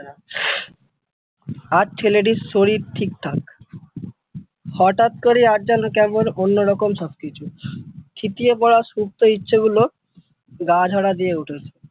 আজ ছেলেটির শরীর ঠিকঠাক হঠাৎ করেই আজ যেন কেমন অন্যরকম সবকিছু থিতিয়ে পরা সুপ্ত ইচ্ছেগুলো গা ঝাড়া দিয়ে উঠলো।